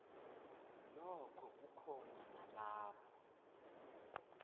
nokho kukhona nalapho